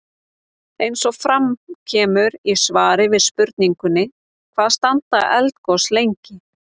Eins og fram kemur í svari við spurningunni Hvað standa eldgos lengi?